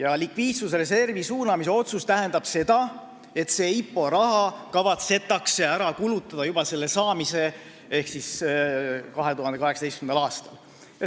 Aga likviidsusreservi suunamise otsus tähendab seda, et see IPO raha kavatsetakse ära kulutada juba selle saamise hetkel ehk 2018. aastal.